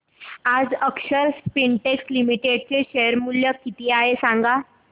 आज Akshar Spintex Limited चे share मूल्य किती आहे सांगा